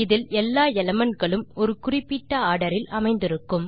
இதில் எல்லா எலிமெண்ட் களும் ஒரு குறிப்பிட்ட ஆர்டர் இல் அமைந்திருக்கும்